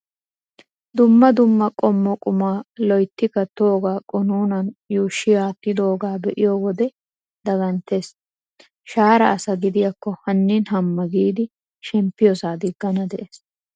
Dumma dumma qommo qumaa loyitti kattoogaa qunuunan yuushshi attidooge be"iyoo wode daganttes. Shaara asa gidiyaakko hannin hamma giidi shemppiyosaa diggana de'ees.